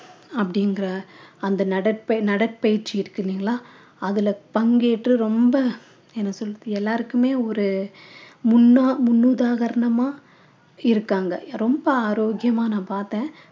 அப்படிங்கிற அந்த நடப்பை~ நடைப்பயிற்சி இருக்கு இல்லைங்களா அதுல பங்கேற்று ரொம்ப என்ன சொல்றது எல்லாருக்குமே ஒரு முன்னா~ முன்னுதாரணமா இருக்காங்க ரொம்ப ஆரோக்கியமான நான் பார்த்தேன்